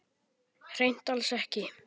Hreint alls ekki.